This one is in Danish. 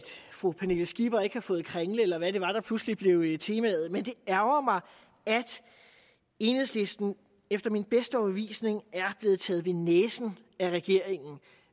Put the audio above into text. fru pernille skipper ikke har fået kringle eller hvad det var der pludselig blev temaet men det ærgrer mig at enhedslisten efter min bedste overbevisning er blevet taget ved næsen af regeringen